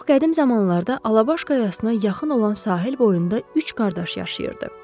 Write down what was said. Çox qədim zamanlarda Alabaş qayasına yaxın olan sahil boyunda üç qardaş yaşayırdı.